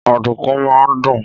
Ọ̀dùnkún máa ń dùn.